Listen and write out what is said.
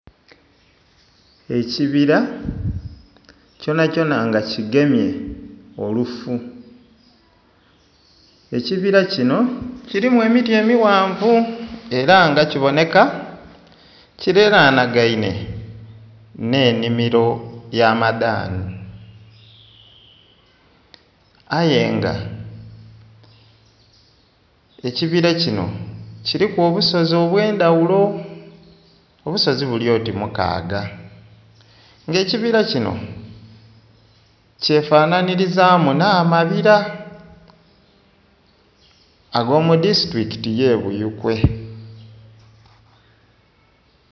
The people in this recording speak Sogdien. Ekibira kyonakyona nga kigemye olufu, ekibira kino kirimu emiti emighanvu era nga kiboneka kiliranagaine n'ennhimiro y'amadhani, aye nga ekibira kino kiriku obusozi obw'endhaghulo, obusozi buli oti mukaaga. Nga ekibira kino kyefanhanhirizamu n'amabira ag'omu disitulikiti ey'ebuyikwe.